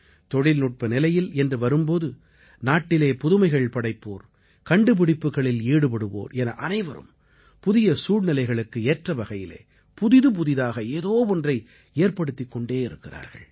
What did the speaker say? தொழில்நுட்ப நிலையில் என்று வரும் போது நாட்டிலே புதுமைகள் படைப்போர் கண்டுபிடிப்புக்களில் ஈடுபடுவோர் என அனைவரும் புதிய சூழ்நிலைகளுக்கு ஏற்ற வகையிலே புதிதுபுதிதாக ஏதோ ஒன்றை ஏற்படுத்திக் கொண்டிருக்கிறார்கள்